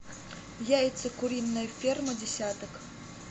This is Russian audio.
яйца куриная ферма десяток